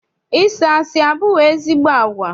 Ịsị asị abụghị ezigbo agwa.